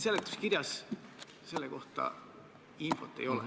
Seletuskirjas selle kohta infot ei ole.